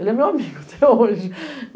Ele é meu amigo até hoje.